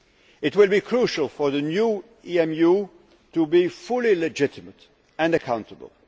It will be crucial for the new EMU to be fully legitimate and accountable.